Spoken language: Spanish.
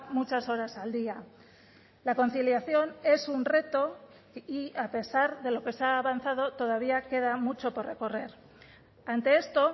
muchas horas al día la conciliación es un reto y a pesar de lo que se ha avanzado todavía queda mucho por recorrer ante esto